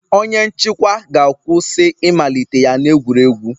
Onye nchịkwa ga-akwụsị ịmalite ya na egwuregwu